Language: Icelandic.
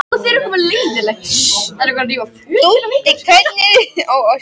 Þeir voru þögulir þegar þeir hjóluðu upp að hólnum.